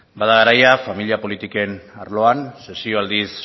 bada garaia familia politiken arloan sesio aldiz